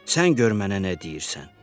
Sən gör mənə nə deyirsən?”